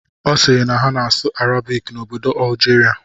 Ọ siiri na a na-asụ Arabik n'obodo Algeria.